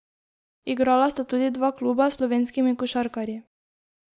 Igrala sta tudi dva kluba s slovenskimi košarkarji.